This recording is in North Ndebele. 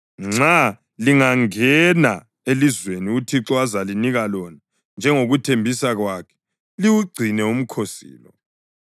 Nxa lingangena elizweni uThixo azalinika lona njengokuthembisa kwakhe, liwugcine umkhosi lo.